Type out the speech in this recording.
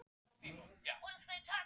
Það er dálítill aðstöðumunur?